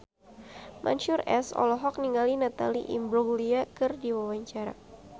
Mansyur S olohok ningali Natalie Imbruglia keur diwawancara